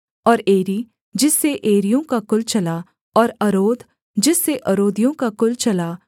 और एरी जिससे एरियों का कुल चला और अरोद जिससे अरोदियों का कुल चला